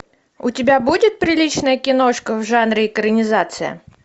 у тебя будет приличная киношка в жанре экранизация